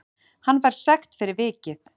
Hann fær sekt fyrir vikið